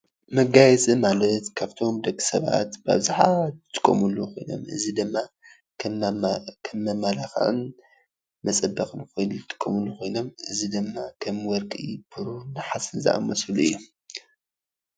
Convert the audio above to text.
መጋየፂ ማለት ካብቶም ደቂ ሰባት ብኣብዘሓ ዝጥቀምሎም ኮይኖም እዚ ድማ ከም መመላክዕን መፀበቅን ዝጥቀምሉ ኮይኖም ከም ወርቂ ፣ብሩር ፣ንሓስን ዝኣመሰሉ እዮም።